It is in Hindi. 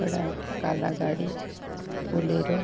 बड़ा काला गाड़ी बोलेरो --